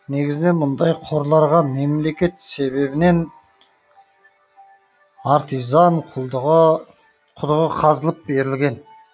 негізінен мұндай қорларға мемлекет себебінен артизан құдығы қазылып берілген